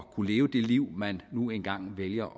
kunne leve det liv man nu engang vælger